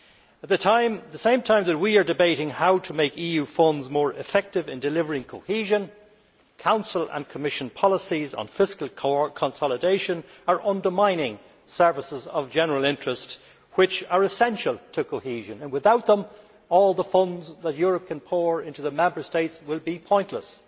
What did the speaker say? At the same time as we are debating how to make EU funds more effective in delivering cohesion, Council and Commission policies on fiscal consolidation are undermining services of general interest which are essential to cohesion. Without them, all the funds that Europe can pour into the Member States will be pointless.